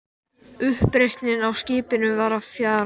Uppreisnin á skipinu var að fjara út.